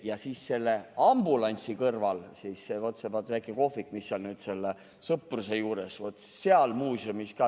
. Ja siis selle ambulantsi kõrval see väike kohvik, mis on nüüd Sõpruse juures, vaat seal muuseumis ka ...